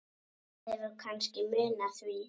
Það hefur kannski munað því.